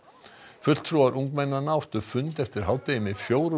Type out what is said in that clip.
fulltrúar ungmennanna áttu fund eftir hádegi með fjórum